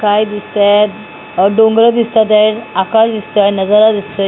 काय दिसतेत अह डोंगरं दिसतं आहेत आकाश दिसतंय नजारा दिसतोय.